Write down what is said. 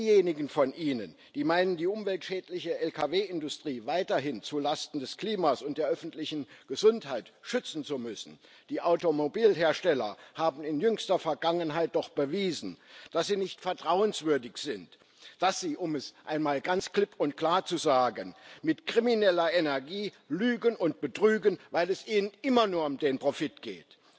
An diejenigen von Ihnen, die meinen, die umweltschädliche Lkw Industrie weiterhin zulasten des Klimas und der öffentlichen Gesundheit schützen zu müssen Die Automobilhersteller haben in jüngster Vergangenheit doch bewiesen, dass sie nicht vertrauenswürdig sind, dass sie um es einmal ganz klipp und klar zu sagen mit krimineller Energie lügen und betrügen, weil es ihnen immer nur um den Profit geht.